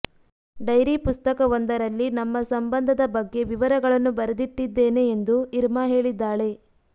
dairy ಪುಸ್ತಕವೊಂದರಲ್ಲಿ ನಮ್ಮ ಸಂಬಂಧದ ಬಗ್ಗೆ ವಿವರಗಳನ್ನು ಬರೆದಿಟ್ಟಿದ್ದೇನೆ ಎಂದು ಇರ್ಮಾ ಹೇಳಿದ್ದಾಳೆ